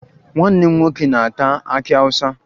Nwanne m nwoke na-ata akị Awụsa